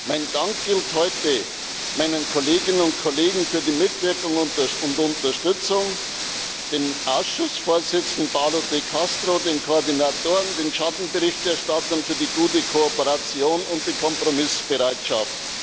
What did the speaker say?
Mein Dank gilt heute meinen Kolleginnen und Kollegen für die Mitwirkung und Unterstützung, dem Ausschussvorsitzenden Paolo De Castro, den Koordinatoren, den Schattenberichterstattern für die gute Kooperation und die Kompromissbereitschaft.